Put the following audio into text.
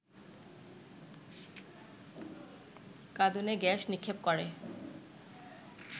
কাঁদুনে gas নিক্ষেপ করে